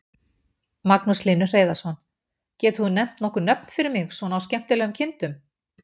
Magnús Hlynur Hreiðarsson: Getur þú nefnt nokkur nöfn fyrir mig svona á skemmtilegum kindum?